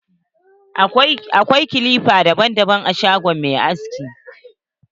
Akwai kilipa daban-daban a shagon mai haski.